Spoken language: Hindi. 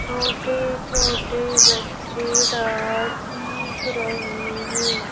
छोटे-छोटे बच्चे रात सीख रहे हैं।